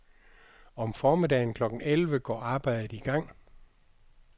Om formiddagen klokken elleve går arbejdet i gang.